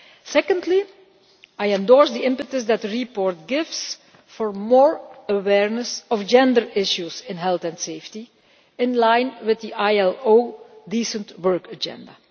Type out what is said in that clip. Secondly, I endorse the impetus that the report gives for more awareness of gender issues in health and safety, in line with the ILO Decent Work Agenda.